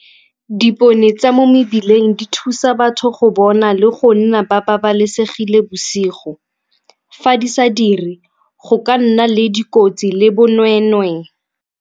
Dipone tsa mo mebileng di thusa batho go bona le go nna ba babalesegile bosigo. Fa di sa diri go ka nna le dikotsi le bonweenwee.